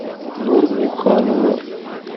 нурмуханова